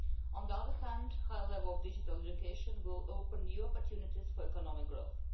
On the other hand, a high level of digital education will open new opportunities for economic growth.